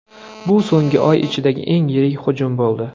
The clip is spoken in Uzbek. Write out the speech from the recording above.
Bu so‘nggi oy ichidagi eng yirik hujum bo‘ldi.